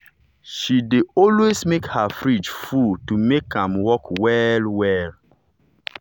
she dey always make her fridge full to make am work well well.